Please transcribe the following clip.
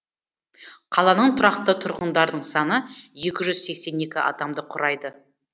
қаланың тұрақты тұрғындарының саны екі жүз сексен екі адамды құрайды